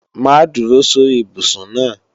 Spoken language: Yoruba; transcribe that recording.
Má dúró sórí ibùsùn náà!